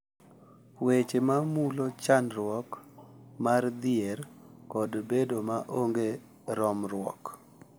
Weche ma mulo chandruok mar dhier kod bedo ma onge romruok